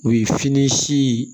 U ye fini si